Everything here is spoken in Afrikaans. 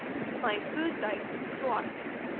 my voertuig swart